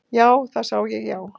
Já, það sá ég já.